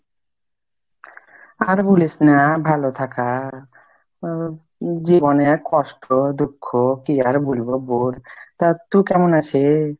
আর বুলিস না, ভালো থাকা জীবনে এক কষ্ট দুঃখ, কি আর বুলবো বোল তা তুই কেমন আছি ?